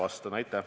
Aitäh!